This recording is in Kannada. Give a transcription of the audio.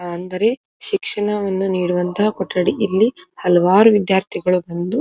ಅಂದರೆ ಶಿಕ್ಷಣವನ್ನು ನೀಡುವಂತ ಕೊಠಡಿ ಇಲ್ಲಿ ಹಲವಾರು ವಿದ್ಯಾರ್ಥಿಗಳು ಬಂದು --